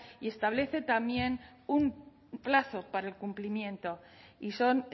y establece también un plazo para el cumplimiento y son